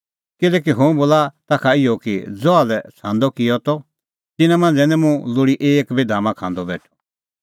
किल्हैकि हुंह बोला ताखा इहअ कि ज़हा लै छ़ांदअ किअ त तिन्नां मांझ़ै निं मुंह लोल़ी एक बी धामा खांदअ बेठअ